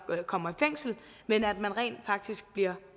kommer i fængsel men at man rent faktisk bliver